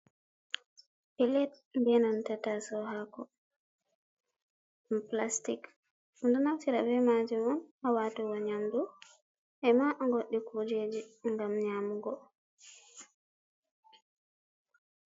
Pilet be nanta taso hako ɗum pilastic, ɗum ɗo naftira be majum on ha watugo nyamdu e ma goɗɗi kujeji ngam nyamugo.